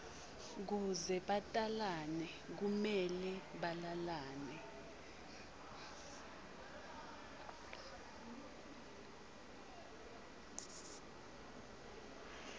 kuze batalane kumele balalane